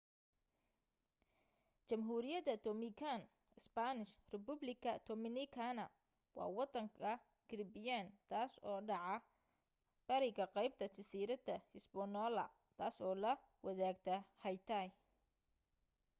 jamhuriyada dominican spanish: república dominicana waa wadanka caribbean taas oo dhacda bariga qeybta jasiirada hispaniola taas oo la wadaagta haiti